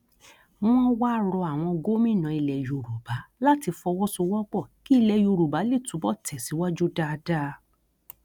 wọn wáá rọ àwọn gómìnà ilẹ yorùbá láti fọwọsowọpọ kí ilẹ yorùbá lè túbọ tẹsíwájú dáadáa